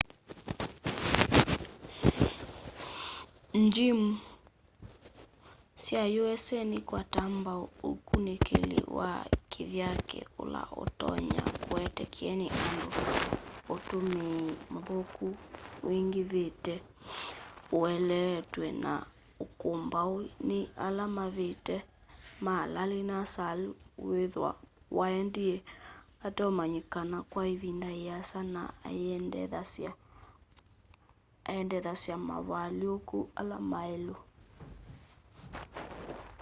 ngyimu sya usa nikwataa mbau ukunikili wa kivyake ula utonya kuete kyeni undu utumii muthuku wingivite ueleetw'e na ukumbau ni ala mavitie ma larry nassar withwa waendie uteumanyikana kwa ivinda iasa na iendekethasya mavalyuku ala mailu